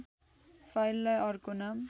फाइललाइ अर्को नाम